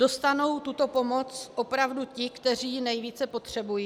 Dostanou tuto pomoc opravdu ti, kteří ji nejvíce potřebují?